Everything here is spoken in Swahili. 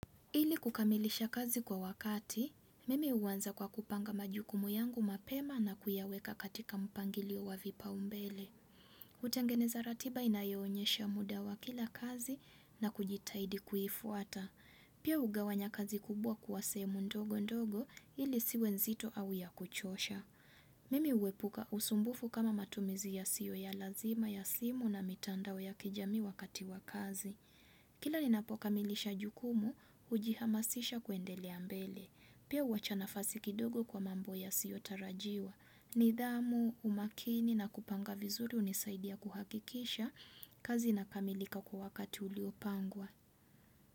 Ili kukamilisha kazi kwa wakati, mimi huanza kwa kupanga majukumu yangu mapema na kuyaweka katika mpangilio wa vipaumbele. Hutengeneza ratiba inayoonyesha muda wa kila kazi na kujitaidi kuifuata. Pia hugawanya kazi kubwa kuwa sehemu ndogo ndogo ili isiwe nzito au ya kuchosha. Mimi huwepuka usumbufu kama matumizi yasiyo ya lazima ya simu na mitandao ya kijami wakati wa kazi. Kila ninapokamilisha jukumu, hujihamasisha kuendelea mbele. Pia huwacha nafasi kidogo kwa mambo yasiotarajiwa. Nidhamu, umakini na kupanga vizuri hunisaidia kuhakikisha. Kazi inakamilika kwa wakati uliopangwa.